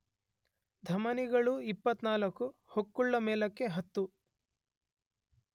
ಧಮನಿಗಳು 24, ಹೊಕ್ಕುಳ ಮೇಲಕ್ಕೆ 10